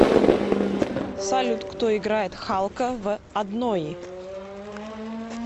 салют кто играет халка в однои